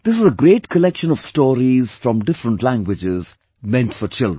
This is a great collection of stories from different languages meant for children